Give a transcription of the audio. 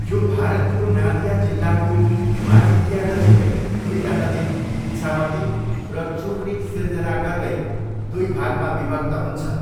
यो भारतको नादिया जिल्लाको माजिदियानजिकै दुइटा नदी, इछामती र चुर्नी सिर्जना गर्दै दुई भागमा विभक्त हुन्छ।